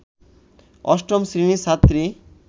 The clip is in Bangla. ৮ম শ্রেণীর ছাত্রী